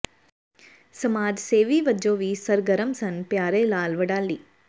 ਸਮਾਜ ਸੇਵੀ ਵਜੋਂ ਵੀ ਸਰਗਰਮ ਸਨ ਪਿਆਰੇ ਲਾਲ ਵਡਾਲੀ